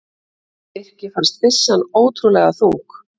Birki fannst byssan ótrúlega þung.